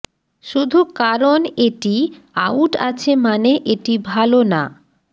শুধু কারণ এটি আউট আছে মানে এটি ভাল না